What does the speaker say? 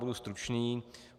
Budu stručný.